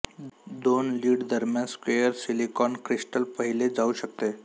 दोन लीड दरम्यान square silicon crystal पाहिले जाऊ शकते